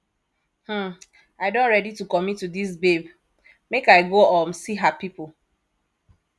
um i don ready to commit to dis babe make i go um see her pipo